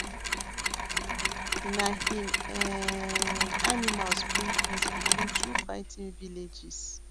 na him um animals bring peace between two fighting villages